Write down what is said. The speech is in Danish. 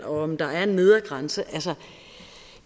om der er en nedre grænse